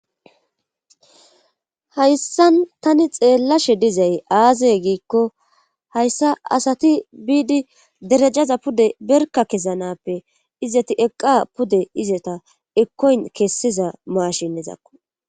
Hayssan tani xeellashe dizay aazey giikko hayssa asati biidi derejaza pude berka kesanappe izeti eqqa pude izeta ekkoyn kessiza maashinizakko